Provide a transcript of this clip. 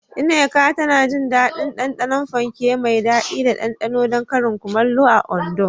Nneka tana jin daɗin ɗanɗanon fanke mai daɗi da ɗanɗano don karin kumallo a Ondo.